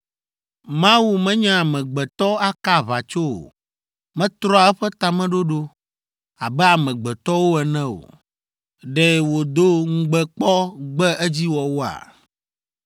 Mawu menye amegbetɔ, aka aʋatso o. Metrɔa eƒe tameɖoɖo. Abe amegbetɔwo ene o. Ɖe wòdo ŋugbe kpɔ gbe edziwɔwɔa?